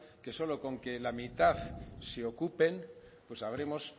que solo con que la mitad se ocupen pues habremos